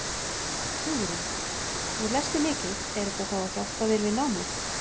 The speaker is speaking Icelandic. Hugrún: Nú lestu mikið er þetta þá að hjálpa þér við námið?